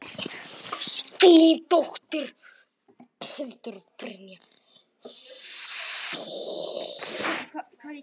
Þín dóttir, Hildur Brynja.